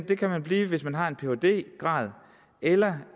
kan man blive hvis man har en phd grad eller